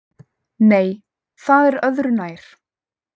Nei, það er öðru nær!